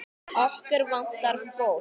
Okkur vantar fólk.